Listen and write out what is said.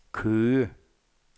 Køge